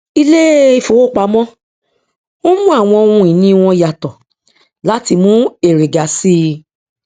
ilé ìfowópamọ n mú àwọn ohun ìní wọn yàtọ láti mú èrè ga sí i